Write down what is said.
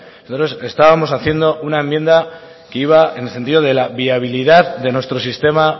nosotros estábamos haciendo una enmienda que iba en el sentido de la viabilidad de nuestro sistema